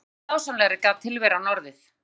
Hversu mikið dásamlegri gat tilveran orðið?